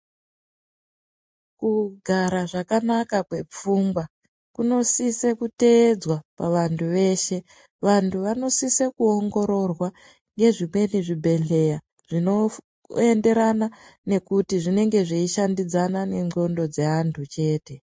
Kugara zvakanaka kwepfungwa kunosise kuteedzwa pavantu veshe vantu vanosise kuongororwa ngezvimweni zvibhedhlera zvinoenderana nekuti zvinenge zveishandidzana nendxondo dzevanhu chete .